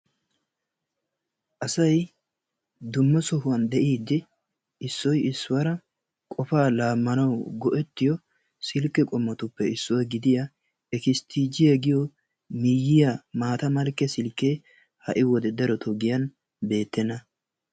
Asay dumma sohuwan de'idi issoy issuwaara qofa laamanawu go''ettiyo silkke qommotuppe issuwaa gidya ekestijiyaa giyo miyyiya maata malkke silkke ha'i wode darottoo giyan beettena.